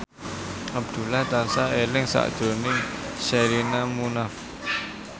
Abdullah tansah eling sakjroning Sherina Munaf